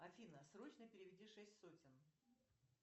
афина срочно переведи шесть сотен